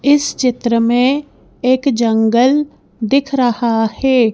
इस चित्र में एक जंगल दिख रहा है।